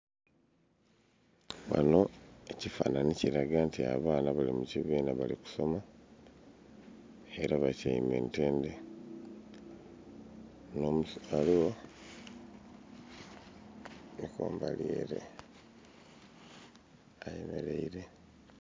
Ghanho ekifananhi kili kiuaga nti abaana bali mu kibina bali kusoma era batyaime ntendhe nho musomesa aligho ali kumbali ere ayemereire.